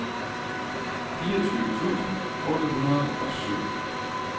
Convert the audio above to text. fireogtyve tusind otte hundrede og syv